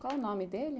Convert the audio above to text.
Qual o nome dele?